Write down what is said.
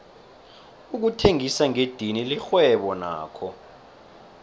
ukuthengisa ngedidini lirhwebo nakho